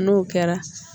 N'o kɛra